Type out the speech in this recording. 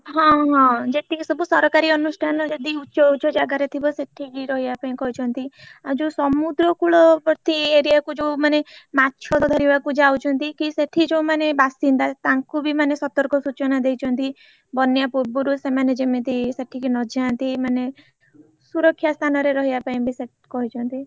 ହଁ ହଁ ଯେତିକି ସବୁ ସରକାରୀ ଅନୁଷ୍ଠାନ ଯଦି ଉଚ ଉଚ ଜାଗାରେ ଥିବ ସେଠିକି ରହିବା ପାଇଁ କହିଛନ୍ତି ଆଉ ଯୋଉ ସମୁଦ୍ରକୁଳବର୍ତୀ area କୁ ଯୋଉମାନେ ମାଛ ଧରିବାକୁ ଯାଉଛନ୍ତି କି ସେଠି ଯୋଉମାନେ ବାସିନ୍ଦା ତାଙ୍କୁ ବି ମାନେ ସତର୍କ ସୂଚନା ଦେଇଛନ୍ତି ବନ୍ୟା ପୂର୍ବରୁ ସେମାନେ ଯେମିତି ସେଠିକି ନଜାନ୍ତି ମାନେ ସୁରକ୍ଷା ସ୍ଥାନରେ ରହିବା ପାଇଁ ବେ ସେ କହିଛନ୍ତି।